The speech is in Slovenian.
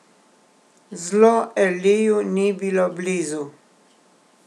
Zlo Eliju ni bilo blizu.